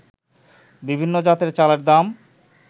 বিভিন্ন জাতের চালের দাম